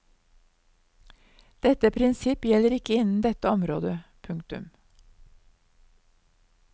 Dette prinsipp gjelder ikke innen dette område. punktum